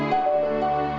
að